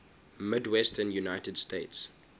midwestern united states